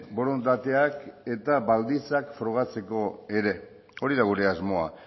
borondateak eta baldintzak frogatzeko ere hori da gure asmoa